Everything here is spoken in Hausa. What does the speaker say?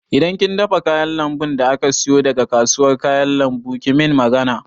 Idan kin dafa kayan lambun da aka siyo daga kasuwar kayan lambu ki min magana